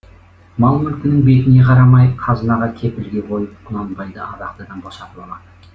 мал мүлкінің бетіне қарамай қазынаға кепілге қойып құнанбайды абақтыдан босатып алады